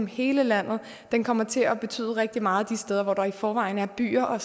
hele landet men kommer til at betyde rigtig meget de steder hvor der i forvejen er byer og